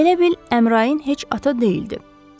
Elə bil Əmrain heç ata deyildi.